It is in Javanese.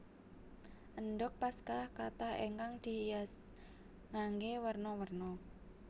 Endhog Paskah kathah ingkang dihias nganggé werna werna